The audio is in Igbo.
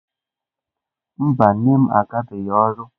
Mba, nne m agabeghị ọrụ.